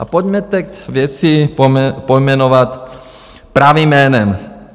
A pojďme teď věci pojmenovat pravým jménem.